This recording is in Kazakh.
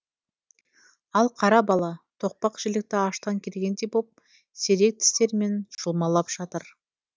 ал қара бала тоқпақ жілікті аштан келгендей боп сирек тістерімен жұлмалап жатыр